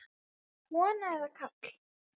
Kona eða karl?